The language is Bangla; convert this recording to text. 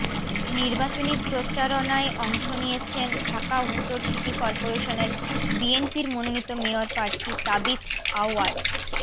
নির্বাচনী প্রচারণায় অংশ নিয়েছেন ঢাকা উত্তর সিটি করপোরেশনে বিএনপির মনোনীত মেয়র প্রার্থী তাবিথ আউয়াল